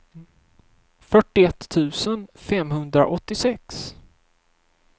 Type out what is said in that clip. fyrtioett tusen femhundraåttiosex